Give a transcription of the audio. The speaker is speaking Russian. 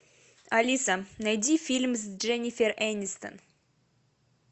алиса найди фильм с дженнифер энистон